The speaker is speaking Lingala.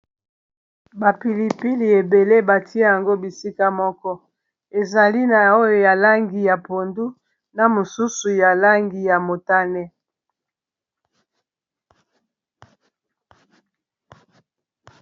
bapilipili ebele batia yango bisika moko ezali na oyo ya langi ya pondu na mosusu ya langi ya motane